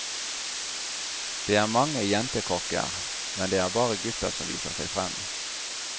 Det er mange jentekokker, men det er bare gutta som viser seg frem.